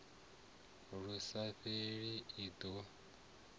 lu sa fheli i do